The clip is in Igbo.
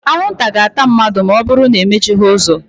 Anwụ nta ga-ata mmadụ̣ ma ọ bụrụ na e mechighi uzo